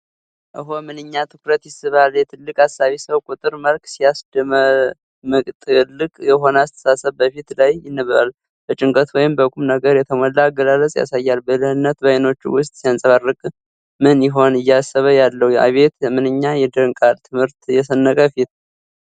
ኦሆ! ምንኛ ትኩረት ይስባል! የትልቅ አሳቢ ሰው ቁጥብ መልክ ሲያስደምምጥልቅ የሆነ አስተሳሰብ በፊቱ ላይ ይነበባል። በጭንቀት ወይም በቁም ነገር የተሞላ አገላለጽ ያሳያል። ብልህነት በአይኖቹ ውስጥ ሲያንጸባርቅ! ምን ይሆን እያሰበ ያለው? አቤት ምንኛ ይደንቃል! ትምህርት የሰነቀ ፊት።